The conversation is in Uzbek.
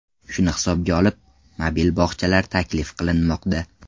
Shuni hisobga olib, mobil bog‘chalar taklif qilinmoqda.